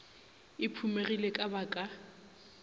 e phumegile ka ba ka